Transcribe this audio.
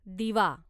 दिवा